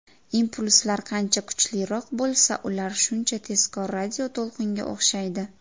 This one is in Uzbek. Impulslar qancha kuchliroq bo‘lsa, ular shuncha tezkor radioto‘lqinga o‘xshaydi.